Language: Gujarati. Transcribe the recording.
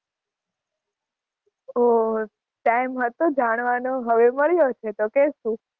ઓહ time હતો જાણવાનો, હવે મળ્યા છીએ તો કહેશું.